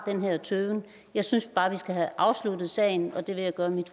har den her tøven jeg synes bare vi skal have afsluttet sagen og det vil jeg gøre mit